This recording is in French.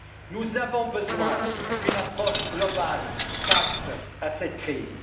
Nous avons besoin d'une approche globale face à cette crise.